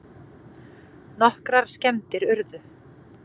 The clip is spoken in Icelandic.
Nokkrar skemmdir urðu